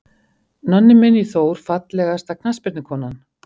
Nonni Minn í Þór Fallegasta knattspyrnukonan?